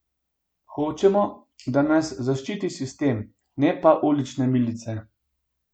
Hočemo, da nas zaščiti sistem, ne pa ulične milice.